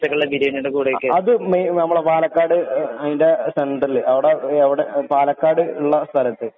ഉച്ചക്കത്തെ ബിരിയാണിയുടെ കൂടെ അത് മെയിൻ നമ്മുടെ പാലക്കാട് അതിന്റെ സെന്റെറില് അവിടെ അവിടെ പാലക്കാടു ഉള്ള സ്ഥലത്തു.